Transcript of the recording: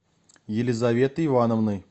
елизаветой ивановной